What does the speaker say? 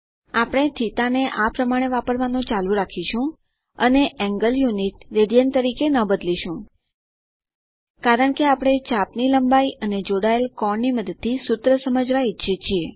આપણે θ ને આ પ્રમાણે વાપરવાનું ચાલુ રાખીશું અને કોણ એકમ રેડિયન તરીકે ન બદલીશું કારણ કે આપણે ચાપ ની લંબાઈ અને જોડાયેલ કોણની મદદથી સૂત્ર સમજાવવા ઈચ્છીએ છીએ